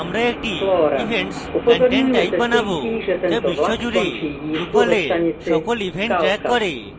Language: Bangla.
আমরা একটি events content type বানাবো যা বিশ্বজুড়ে drupal we সকল events ট্রেক করে